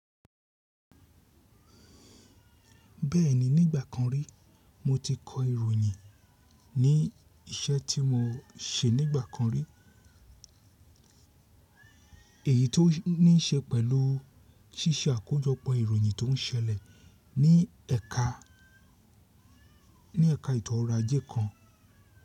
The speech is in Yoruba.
Bẹ́ẹ̀ni, ní ìgbà kan rí mo ti kọ ìròyìn ní iṣẹ́ tí mo ṣe nígbà kan rí. Èyí tó ní í ṣe pẹ̀lú ṣíṣe àkójọpọ̀ ìròyìn tó ń ṣẹlẹ̀ ní ẹka, ní ẹka ìtọ́ra ajé kan.